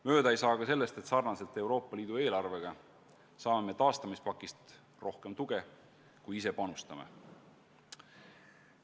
Mööda ei saa sellestki, et sarnaselt Euroopa Liidu eelarvega saame me taastamispaketist tuge rohkem, kui ise sellesse panustame.